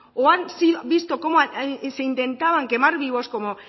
o han visto como se intentaba quemar vivos como